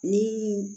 Ni